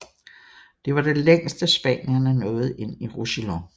Det var det længste spanierne nåede ind i Roussillon